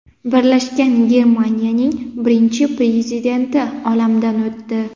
Birlashgan Germaniyaning birinchi prezidenti olamdan o‘tdi.